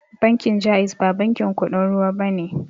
Bankin jaiz ba bankin kuɗin ruwa bane